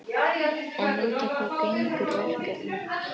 En út á hvað gengur verkefnið?